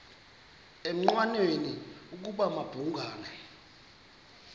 engqanweni ukuba babhungani